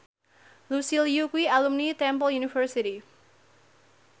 Lucy Liu kuwi alumni Temple University